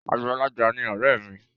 Àgbàlagbà ni ọ̀rẹ́ mi.